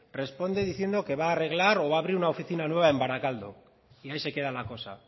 responde diciendo que va a arreglar o va a abrir una oficina nueva en barakaldo y ahí se queda la cosa